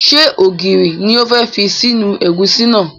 Ṣé ògiri ni o fẹ́ fi sínú ẹ̀gúsí náà?